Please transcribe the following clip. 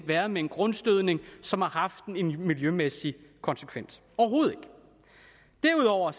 værre end en grundstødning som har haft en miljømæssig konsekvens overhovedet ikke derudover